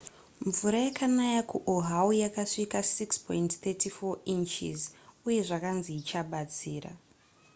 mvura yakanaya kuoahu yakasvika 6.34 inches uye zvakanzi ichabatsira